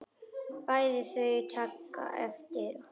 Bæði taka þau eftir honum.